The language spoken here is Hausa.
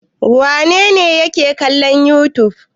Wane ne yake kallon youtube?